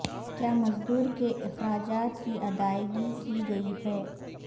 کیا مزدور کے اخراجات کی ادائیگی کی گئی ہے